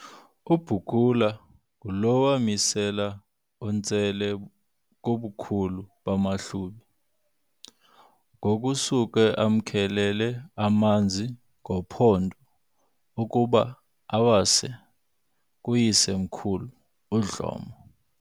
uBukula ngulo wamisela uNtsele kubukhulu bamaHlubi, gokusuka amkhelele amanzi ngophondo ukuba awase kuise-mkhulu uDlomo.